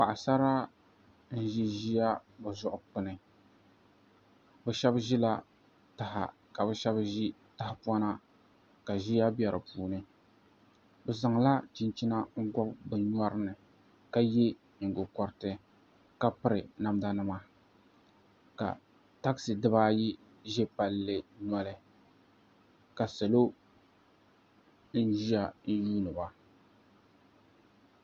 Paɣasara n ʒi ʒiya bi zuɣu kpuni bi shab ʒila taha ka bi shab ʒi tahapona ka ʒiya bɛ di puuni bi zaŋla chinchina n gobi bi nyori ni ka yɛ nyingokoriti ka piri namda nima ka takisi dibaayi ʒɛ palli noli ka salo ʒinʒiya n yuundiba